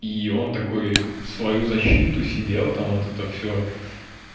и он такой в свою защиту сидел там вот это все